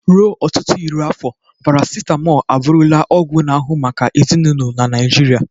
Ruo ọtụtụ iri afọ, parasitamol abụrula ọgwụ na ahu maka ezinụlọ na Naijiria.